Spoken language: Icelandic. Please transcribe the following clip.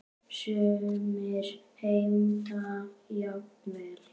Sumir heimta jafnvel